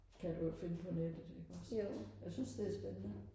kan du jo finde på nettet iggås jeg synes det er spændende